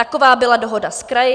Taková byla dohoda s kraji.